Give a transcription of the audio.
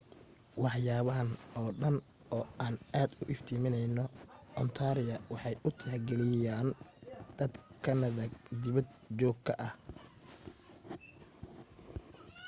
waxyaabahan oo dhan oo aan aad u iftimineyno ontaria waxay u tixgeliyaan dad kanada dibad joog ka ah